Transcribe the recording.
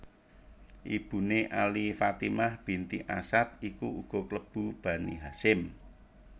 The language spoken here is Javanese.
Ibuné Ali Fatimah binti Asad iku uga klebu Bani Hasyim